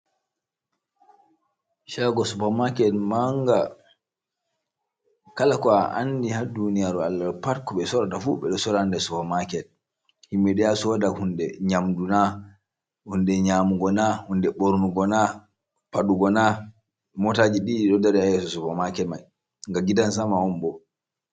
Shago Supa Maket manga. Kala ko a andi ha Duniyaru Allah ɗo pat ko ɓe Sorata fu, ɓe ɗo Sora nder Supa Maket. himɓe ɗo yaha Soda hunde, Nyamdu na hunde nyamugo na, hunde ɓornugo na, Faɗugo na. Motaji ɗiɗi ɗo dari ha Supa Maket mai, na gidan Sama onbo.